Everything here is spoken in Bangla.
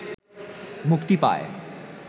মুক্তি পায়।